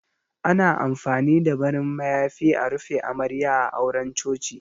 Ana amfani da farin mayafi a rufe Amarya a auren Coci.